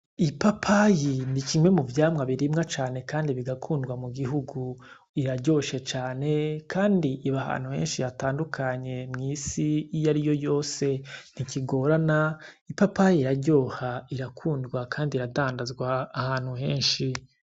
Ipapayi ni kimwe mu vyamwa birimwa cane kandi bigakundwa mu gihugu. Iraryoshe cane kandi iba ahantu henshi hatandukanye mw'isi iyariyo yose. Ntigorana, ipapayi iraryoha, irakundwa kandi iradandazwa ahantu hose.